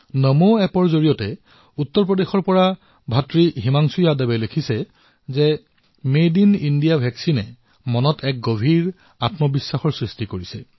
নমো এপত উত্তৰ প্ৰদেশৰ পৰা হিমাংশু যাদৱে লিখিছে যে মেড ইন ইণ্ডিয়া ভেকচিনৰ দ্বাৰা মনত এক নতুন আত্মবিশ্বাসৰ সৃষ্টি হৈছে